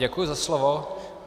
Děkuji za slovo.